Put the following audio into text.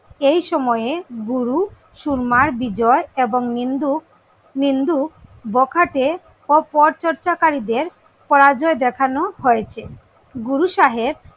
এই সময়ে গুরু সুরমার বিজয় এবং নিন্দুক নিন্দুক, বখাটে ও পরচর্চাকারীদের পরাজয় দেখানো হয়েছে। গুরু সাহেব,